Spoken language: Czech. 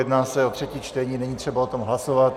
Jedná se o třetí čtení, není třeba o tom hlasovat.